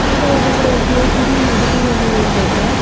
अगल-बगल गेट भी लगा हुआ है लोहे का।